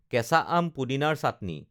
কেঁচা আম পুদিনাৰ চাটনি